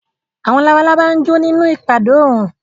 Àwọn labalábá jó nínú ìpadó oòrùn